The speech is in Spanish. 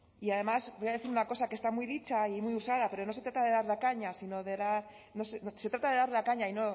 y además voy a decir una cosa que está muy dicha y muy usada pero se trata de dar la caña y